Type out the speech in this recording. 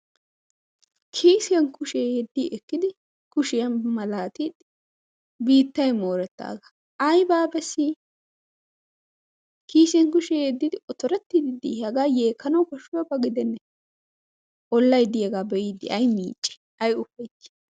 Kissiya kushiyaa malatide biittay moretaaga aybba beessii! kissiyaan kushiyaa yeddidi ootorettidi de'iy! haga yeekanaw koshiyaaba gidene! Ollay de'iyaaga be'ide ay ufaytti ay miicci!